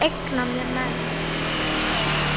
Ég eigna mér menn.